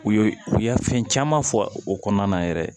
U ye u ye fɛn caman fɔ o kɔnɔna na yɛrɛ